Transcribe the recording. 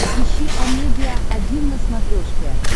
ищи амедиа один на смотрешке